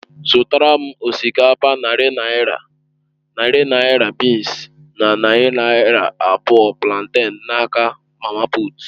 Zụtàra m osikapa narị naira, narị naira bịịns na narị naira abụọ planten n'aka mama puut.